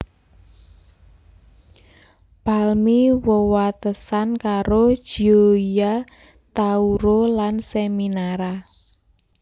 Palmi wewatesan karo Gioia Tauro lan Seminara